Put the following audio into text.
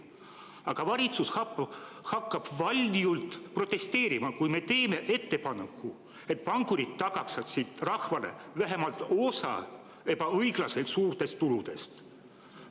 Aga valitsus hakkab valjult protesteerima, kui me teeme ettepaneku, et pankurid tagastaksid rahvale vähemalt osa ebaõiglaselt suurtest tuludest.